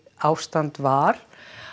ástand var